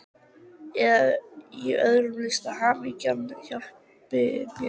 Eða í öðrum listum, hamingjan hjálpi mér!